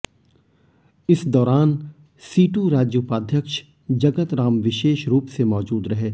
इस दौरान सीटू राज्य उपाध्यक्ष जगतराम विशेष रूप से मौजूद रहे